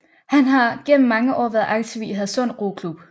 Han har gennem mange år været aktiv i Hadsund Roklub